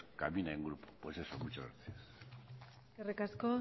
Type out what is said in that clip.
camina en grupo pues eso muchas gracias eskerrik asko